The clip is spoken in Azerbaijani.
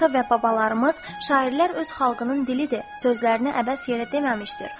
Ata və babalarımız şairlər öz xalqının dilidir sözlərini əbəs yerə deməmişdir.